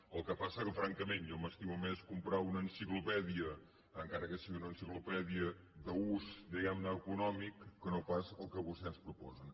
el que passa que francament jo m’estimo més comprar una enciclopèdia encara que sigui una enciclopèdia d’ús diguem·ne econòmic que no pas el que vostès ens pro·posen